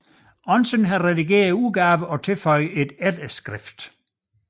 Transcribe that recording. Andersen har redigeret udgaven og tilføjet et efterskrift